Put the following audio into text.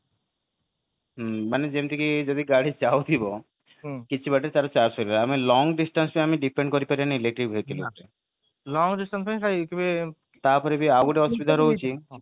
ହୁଁ ମାନେ ଯେମିତିକି ଗାଡି ଯାଉଥିବ କିଛିବାଟ ତାର ଚାର୍ଜ ସରିବ ଆମେ long distance ରେ depend କରିବାନି electric vehicle ଉପରେ ତାପରେ ବି ଆଉ ଗୋଟେ ଅସୁବିଧା ରହୁଛି